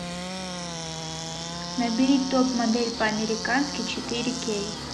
набери топ модель по американски четыре кей